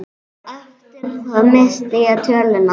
Eftir það missti ég töluna.